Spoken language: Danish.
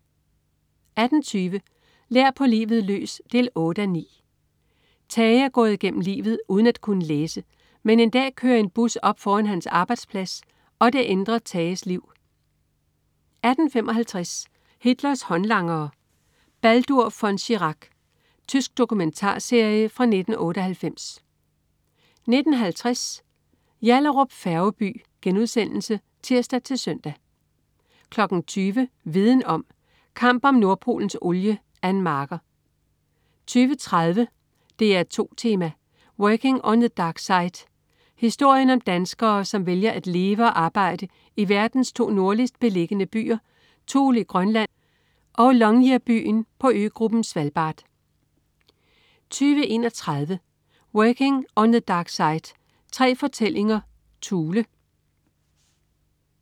18.20 Lær på livet løs 8:9. Tage er gået igennem livet uden at kunne læse, men en dag kører en bus op foran hans arbejdsplads og det ændrer Tages liv 18.55 Hitlers håndlangere. Baldur von Schirach. Tysk dokumentarserie fra 1998 19.50 Yallahrup Færgeby* (tirs-søn) 20.00 Viden om: Kamp om Nordpolens olie. Ann Marker 20.30 DR2 Tema: Working on the Dark Side. Historien om danskere, som vælger at leve og arbejde i verdens to nordligst beliggende byer: Thule i Grønland og Longyearbyen på øgruppen Svalbard 20.31 Working on the Dark Side. Tre fortællinger Thule